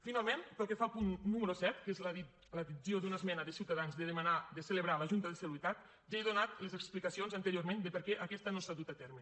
finalment pel que fa al punt número set que és l’addició d’una esmena de ciutadans de demanar de celebrar la junta de seguretat ja he donat les explicacions anteriorment de per què aquesta no s’ha dut a terme